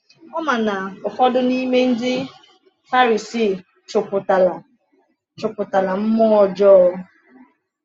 Ọ ma na ụfọdụ n’ime ndị Farisii chụpụtala chụpụtala mmụọ ọjọọ.